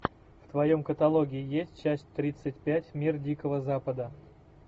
в твоем каталоге есть часть тридцать пять мир дикого запада